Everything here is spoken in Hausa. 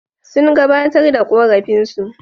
Sun gabatar da ƙorafinsu.